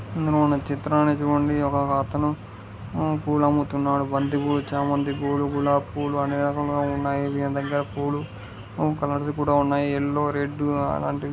ఇక్కడ ఉన్న చిత్రాన్ని చుడండి ఒక అతను పూలు అమ్ముతున్నాడు బంతి పూలు చామంతి పూలు గులాబ్ పూలు అన్ని రకములు పూలు ఉన్నాయి ఈయన దగ్గర పూలు కలర్స్ కూడ ఉన్నాయి యెల్లో రెడ్ అలాంటివి --